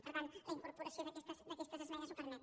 per tant la incorporació d’aquestes esmenes ho permet